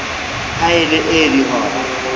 ha e le ee dihora